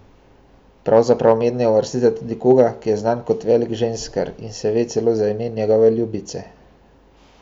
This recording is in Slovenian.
Pravzaprav mednje uvrstite tudi koga, ki je znan kot velik ženskar, in se ve celo za ime njegove ljubice.